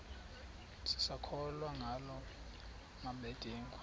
sisakholwa ngala mabedengu